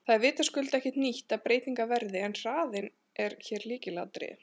Það er vitaskuld ekki nýtt að breytingar verði en hraðinn er hér lykilatriði.